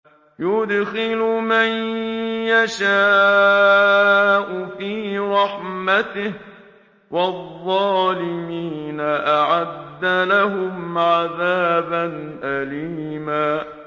يُدْخِلُ مَن يَشَاءُ فِي رَحْمَتِهِ ۚ وَالظَّالِمِينَ أَعَدَّ لَهُمْ عَذَابًا أَلِيمًا